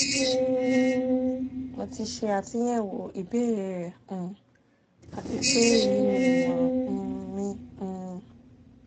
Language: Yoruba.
mo ti ṣe atunyẹwo ibeere rẹ um ati pe eyi ni imọran um mi um